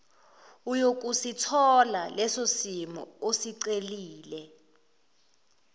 uyokusithola lesosimo osicelile